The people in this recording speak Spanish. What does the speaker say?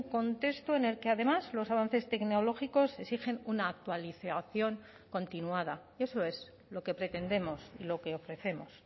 contexto en el que además los avances tecnológicos exigen una actualización continuada eso es lo que pretendemos lo que ofrecemos